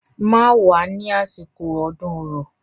Má wá ní àsìkò ọdún Orò.